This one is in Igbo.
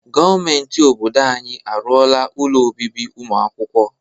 Gọọmenti obodo anyị arụọla ụlọ obibi ụmụ akwụkwọ.